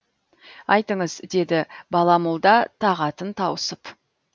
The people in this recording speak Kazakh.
айтыңыз деді бала молда тағатын тауысып